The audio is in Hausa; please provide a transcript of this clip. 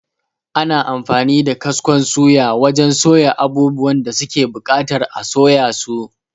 Ana amfani da kaskon suya wajan soya abubuwan da suke buƙatar a soya su